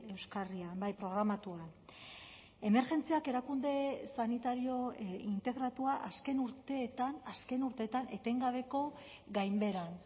euskarrian bai programatuan emergentziak erakunde sanitario integratua azken urteetan azken urteetan etengabeko gainbeheran